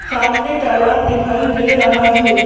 सामने तालाब दिखाई दे रहा है।